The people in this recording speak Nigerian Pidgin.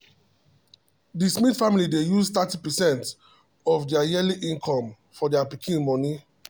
the smith family dey use thirty percent of their of their yearly income for their pikin school money.